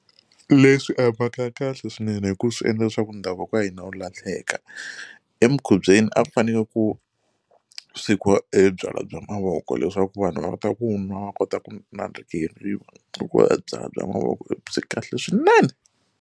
Leswi a hi mhaka ya kahle swinene hi ku swi endla leswaku ndhavuko wa hina wu lahleka emikhubyeni a ku fanele ku swekiwa e byalwa bya mavoko leswaku vanhu va ta ku nwa va kota ku nandzikeriwa hikuva byalwa mavoko byi kahle swinene.